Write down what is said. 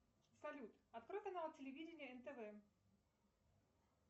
салют открой канал телевидения нтв